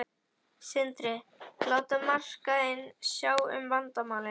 Sindri: Láta markaðinn sjá um vandamálin?